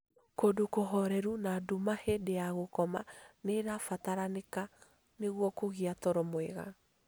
Kũndũ kũhoreru na nduma hĩndĩ ya gũkoma nĩ ĩrabataranĩka nĩguo kũgĩa toro mwega